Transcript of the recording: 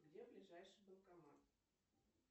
где ближайший банкомат